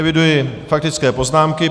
Eviduji faktické poznámky.